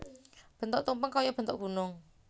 Bentuk tumpeng kaya bentuk gunung